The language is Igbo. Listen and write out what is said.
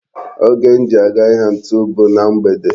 Oge m ji aga ahịa ntu bu na mgbede.